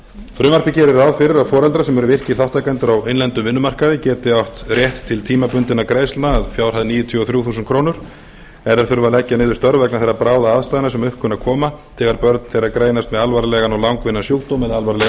frumvarpið gerir ráð fyrir að foreldrar sem eru virkir þátttakendur á innlendum vinnumarkaði geti átt rétt til tímabundinna greiðslna að fjárhæð níutíu og þrjú þúsund krónur ef þeir þurfa að leggja niður störf vegna eiga bráðaaðstæðna sem upp kunna að koma þegar börn þeirra greinast með alvarlegan og langvinnan sjúkdóm eða alvarlega